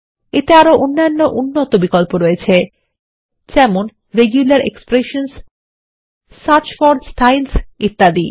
এতে আরো অন্যান্য উন্নত বিকল্প রয়েছে যেমন রেগুলার এক্সপ্রেশনসহ সার্চ ফোর স্টাইলস ইত্যাদি